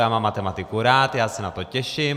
Já mám matematiku rád, já se na to těším.